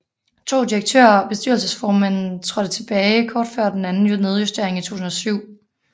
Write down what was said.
To direktører og bestyrelsesformanden trådte tilbage kort før den anden nedjustering i 2007